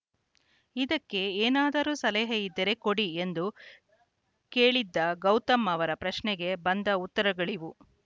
ಇದಕ್ಕೆ ಏನಾದರೂ ಸಲಹೆ ಇದ್ದರೆ ಕೊಡಿ ಎಂದು ಕೇಳಿದ್ದ ಗೌತಮ್‌ ಅವರ ಪ್ರಶ್ನೆಗೆ ಬಂದ ಉತ್ತರಗಳಿವು